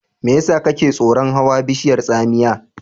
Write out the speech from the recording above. Me yasa kake tsoron hawa bishiyar tsamiya?